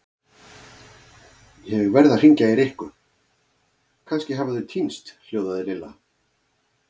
Ég verð að hringja í Rikku, kannski hafa þau týnst hljóðaði Lilla.